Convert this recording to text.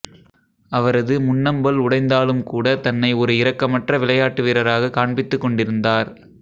அவரது முன்னம்பல் உடைந்தாலும் கூட தன்னை ஒரு இரக்கமற்ற விளையாட்டு வீரராக காண்பித்துக் கொண்டிருந்தார்